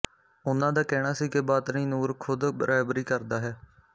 ਉਹਨਾਂ ਦਾ ਕਹਿਣਾ ਸੀ ਕਿ ਬਾਤਨੀ ਨੂਰ ਖ਼ੁਦ ਰਹਿਬਰੀ ਕਰਦਾ ਹੈ